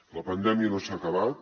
la pandèmia no s’ha acabat